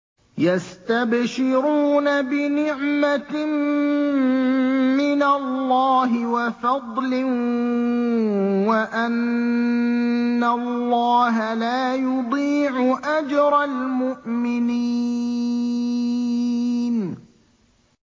۞ يَسْتَبْشِرُونَ بِنِعْمَةٍ مِّنَ اللَّهِ وَفَضْلٍ وَأَنَّ اللَّهَ لَا يُضِيعُ أَجْرَ الْمُؤْمِنِينَ